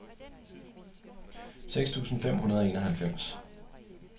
seks tusind fem hundrede og enoghalvfems